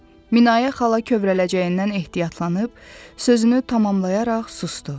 Minayə xala kövrələcəyindən ehtiyatlanıb, sözünü tamamlayaraq susdu.